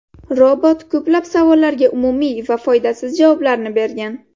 Robot ko‘plab savollarga umumiy va foydasiz javoblarni bergan.